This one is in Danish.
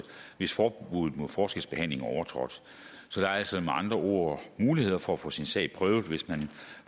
hvis forbuddet mod forskelsbehandling er overtrådt så der er altså med andre ord muligheder for at få sin sag prøvet hvis man